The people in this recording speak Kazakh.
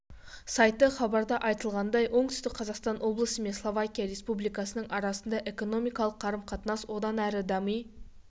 сайты хабарда айтылғандай оңтүстік қазақстан облысы мен словакия республикасының арасындағы экономикалық қарым-қатынас одан әрі дами